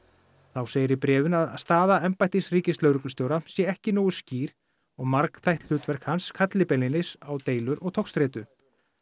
þá segir í bréfinu að staða embættis ríkislögreglustjóra sé ekki nógu skýr og margþætt hlutverk hans kalli beinlínis á deilur og togstreitu